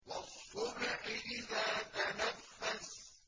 وَالصُّبْحِ إِذَا تَنَفَّسَ